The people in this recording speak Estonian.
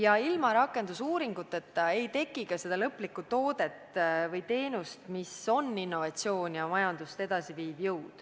Aga ilma rakendusuuringuteta ei teki ka lõpptooteid või teenuseid, mis on innovaatilised ja viivad majandust edasi.